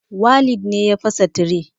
Walid ne ya fasa tire